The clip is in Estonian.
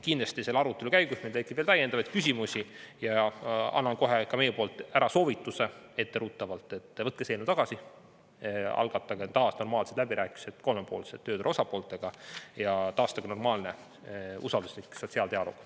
Kindlasti selle arutelu käigus meil tekib täiendavaid küsimusi ja annan kohe ka meie poolt ära soovituse, etteruttavalt, et võtke see eelnõu tagasi, algatage taas normaalsed läbirääkimised kolmepoolselt tööturu osapooltega ja taastage normaalne usalduslik sotsiaaldialoog.